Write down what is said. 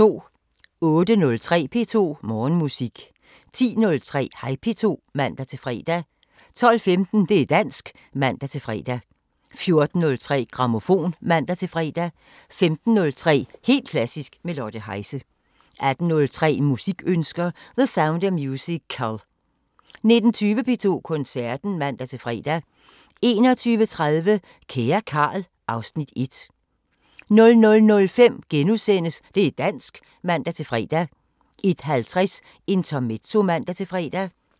08:03: P2 Morgenmusik 10:03: Hej P2 (man-fre) 12:15: Det´ dansk (man-fre) 14:03: Grammofon (man-fre) 15:03: Helt klassisk – med Lotte Heise 18:03: Musikønsker: The Sound of musical 19:20: P2 Koncerten (man-fre) 21:30: Kære Carl... (Afs. 1) 00:05: Det´ dansk *(man-fre) 01:50: Intermezzo (man-fre)